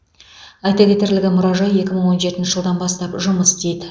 айта кетерлігі мұражай екі мың он жетінші жылдан бастап жұмыс істейді